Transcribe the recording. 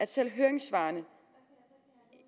selv i høringssvarene